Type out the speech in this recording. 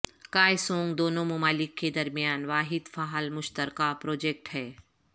کائے سونگ دونوں ممالک کے درمیان واحد فعال مشترکہ پروجکٹ ہے